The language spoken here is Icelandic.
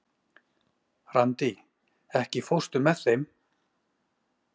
Randí, ekki fórstu með þeim?